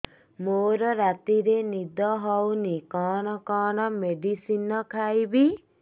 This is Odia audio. ମୋର ରାତିରେ ନିଦ ହଉନି କଣ କଣ ମେଡିସିନ ଖାଇବି